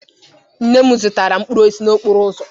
Nne m zụtara mkpụrụ osisi n'okporo ụzọ.